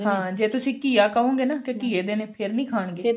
ਹਾਂ ਜੇ ਤੁਸੀਂ ਘੀਆ ਕਹੋ ਗਏ ਨਾ ਕੀ ਘੀਏ ਦੇ ਨੇ ਫਿਰ ਖਾਣਗੇ